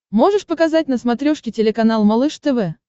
можешь показать на смотрешке телеканал малыш тв